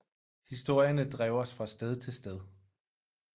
Historierne drev os fra sted til sted